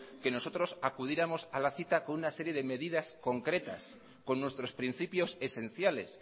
que nosotros acudiéramos a la cita con una serie de medidas concretas con nuestros principios esenciales